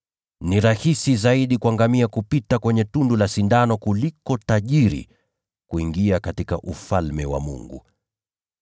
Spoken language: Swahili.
Ni rahisi zaidi kwa ngamia kupita kwenye tundu la sindano kuliko mtu tajiri kuingia katika Ufalme wa Mungu.”